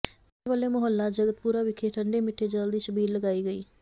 ਬੱਚਿਆਂ ਵੱਲੋ ਮੁਹੱਲਾ ਜਗਤਪੁਰਾ ਵਿਖੇ ਠੰਡੇ ਮਿੱਠੇ ਜਲ ਦੀ ਛਬੀਲ ਲਗਾਈ ਗਈ